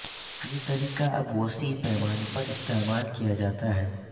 یہ طریقہ اب وسیع پیمانے پر استعمال کیا جاتا ہے